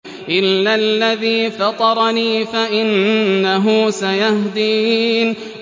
إِلَّا الَّذِي فَطَرَنِي فَإِنَّهُ سَيَهْدِينِ